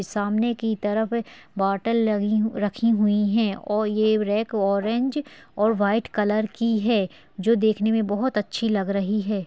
सामने की तरफ बोतल लगी रखी हुई हैं और ये रेक ओरेंज और वाइट कलर की है जो देखने में बोहोत अच्छी लग रही है।